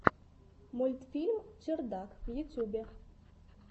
мультфильм чердак в ютьюбе